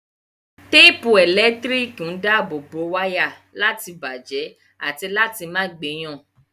Téèpù ẹ̀lẹ́tíríkì ń dáàbò wáyà láti bàjẹ́ àti láti má gbé yàn